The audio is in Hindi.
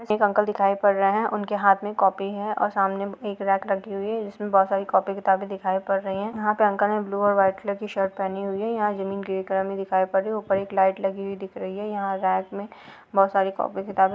एक अंकल दिखाई पड़ रहे हैं उनके हाथ में कॉपी है और सामने एक रैक लगी हुई है जिसमें बहुत सारी कॉपी किताबें दिखाई पड़ रही है यहाँ पर अंकल ने ब्लू और वाइट कलर की शर्ट पहनी हुई है यहाँ जमीन ग्रे कलर की दिखाई पड़ रही है ऊपर एक लाइट लगी हुई दिख रही है यहाँ रेक में बहुत सारी कॅापी किताबें--